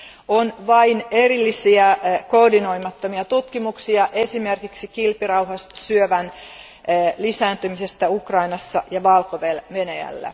On vain erillisiä koordinoimattomia tutkimuksia esimerkiksi kilpirauhassyövän lisääntymisestä Ukrainassa ja Valko Venäjällä.